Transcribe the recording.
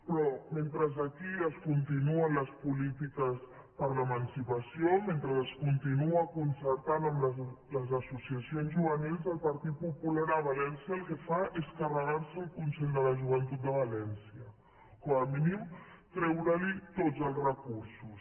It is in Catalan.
però mentre aquí es continuen les polítiques per a l’emancipació mentre es continua concertant amb les associacions juvenils el partit popular a valència el que fa és carregar se el consell de la joventut de va lència com a mínim treure li tots els recursos